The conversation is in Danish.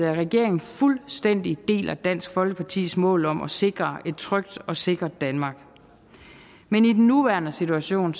regeringen fuldstændig deler dansk folkepartis mål om at sikre et trygt og sikkert danmark men i den nuværende situation